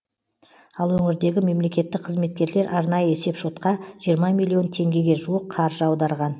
ал өңірдегі мемлекеттік қызметкерлерлер арнайы есепшотқа жиырма миллион теңгеге жуық қаржы аударған